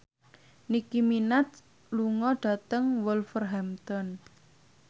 Nicky Minaj lunga dhateng Wolverhampton